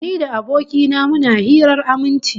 Ni da aboki na muna hirar aminci